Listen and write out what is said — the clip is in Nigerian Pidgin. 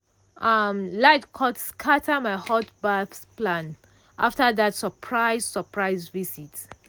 um light cut scatter my hot baff plan after that surprise surprise visit.